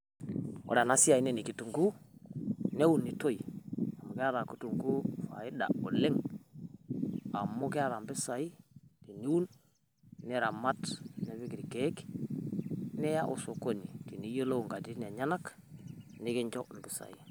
Ore ena esiai naa ne kitung'u neunutoi amu keeta kutung'uu faiida oleng amu keeta mpisai teniun niramaat nipiik elkeek nia osokoni tiniyelou enkatitin enyanak nikinchoo empisai.